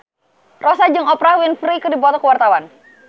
Rossa jeung Oprah Winfrey keur dipoto ku wartawan